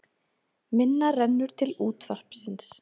Minna rennur til útvarpsins